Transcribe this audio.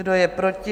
Kdo je proti?